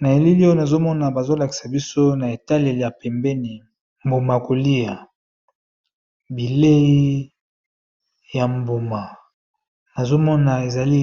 na eleli oyo nazomona bazolakisa biso na etale ya pembeni mbuma kolia bilei ya mbuma nazomona ezali